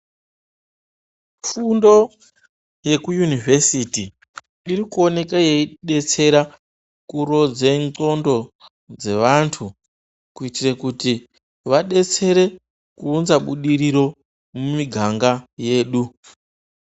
Fundo yekuyunivhesiti irikuoneka yeidetsera kurodza ndxondo dzevantu kuitire kuti vadetsere kuunza budiriro mumiganga yedu.